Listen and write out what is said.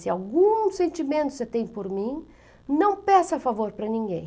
Se algum sentimento você tem por mim, não peça favor para ninguém.